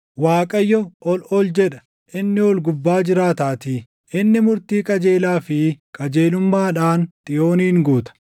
Waaqayyo ol ol jedha; inni ol gubbaa jiraataatii; inni murtii qajeelaa fi qajeelummaadhaan Xiyoonin guuta.